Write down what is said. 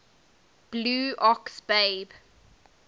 blue ox babe